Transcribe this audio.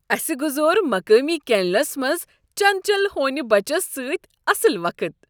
اسِہ گزور مقٲمی کینلس منٛز چنچل ہونِیہ بچس سۭتۍ اصل وقت ۔